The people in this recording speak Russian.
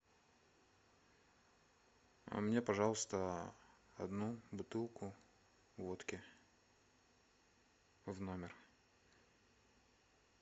а мне пожалуйста одну бутылку водки в номер